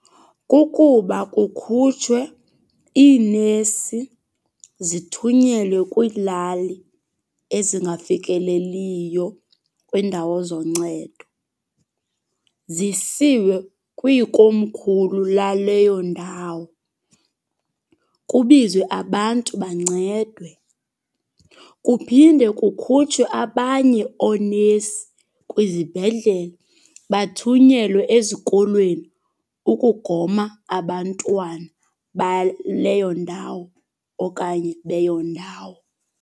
Kukuba kukhutshwe iinesi zithunyelwe kwiilali ezingafikeleliyo kwiindawo zoncedo. Zisiwe kwiikomkhulu laleyo ndawo, kubizwe abantu bancedwe. Kuphinde kukhutshwe abanye oonesi kwizibhedlele bathunyelwe ezikolweni ukugoma abantwana baleyo ndawo okanye beyo ndawo.